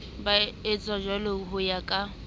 ba etsajwalo ho ya ka